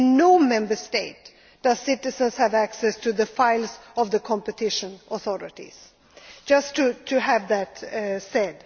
In no Member State do citizens have access to the files of the competition authorities I just wanted to make that